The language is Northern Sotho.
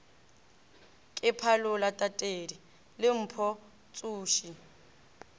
ke phalola tatedi lempo tsoši